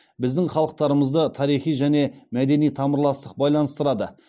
біздің халықтарымызды тарихи және мәдени тамырластық байланыстырады